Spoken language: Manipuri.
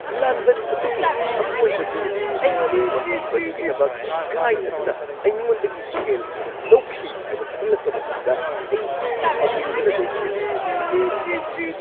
ꯂꯥꯟꯕꯟ ꯑꯗꯨꯒꯤ ꯑꯀꯣꯏꯕꯗꯨ ꯑꯩꯉꯣꯟꯗ ꯎꯠꯈꯤꯕꯗꯨꯒꯤꯗꯃꯛ ꯒꯥꯏꯗ ꯑꯗꯨꯅ ꯑꯩꯉꯣꯟꯗꯒꯤ ꯁꯦꯜ ꯍꯦꯟꯅ ꯂꯧꯈꯤ ꯍꯥꯏꯕ ꯈꯪꯂꯛꯄ ꯃꯇꯝꯗ ꯑꯩ ꯁꯥꯎꯅꯤꯡꯕꯅ ꯂꯣꯏꯈꯤ꯫